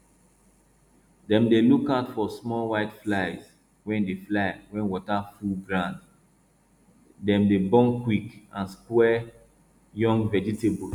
dem dey look out for small white flies wey dey fly when water full grounddem dey born quick and spoil young vegetables